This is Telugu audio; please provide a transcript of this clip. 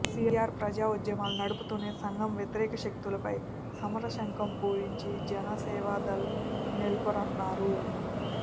సిఆర్ ప్రజా ఉద్యమాలు నడుపుతూనే సం ఘ వ్యతిరేక శక్తులపై సమర శంఖం పూరించి జన సేవదళ్ నెల్పొరన్నారు